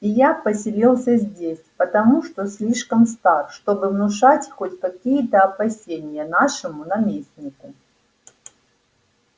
и я поселился здесь потому что слишком стар чтобы внушать хоть какие-то опасения нашему наместнику